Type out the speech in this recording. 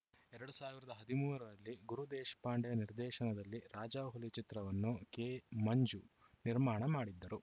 ಎರಡ್ ಸಾವಿರದ ಹದಿಮೂರರಲ್ಲಿ ಗುರು ದೇಶಪಾಂಡೆ ನಿರ್ದೇಶನದಲ್ಲಿ ರಾಜಾಹುಲಿ ಚಿತ್ರವನ್ನು ಕೆಮಂಜು ನಿರ್ಮಾಣ ಮಾಡಿದ್ದರು